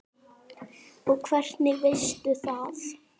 Og hvernig veistu það?